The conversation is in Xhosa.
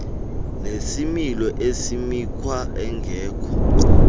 nesimilo esimikhwa engekho